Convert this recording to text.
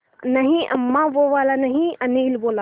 नहीं अम्मा वो वाला नहीं अनिल बोला